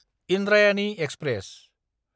Indrayani express